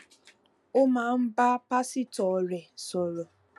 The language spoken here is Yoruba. ó máa ń bá pásítò rè sòrò